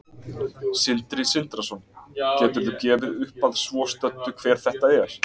Sindri Sindrason: Geturðu gefið upp að svo stöddu hver þetta er?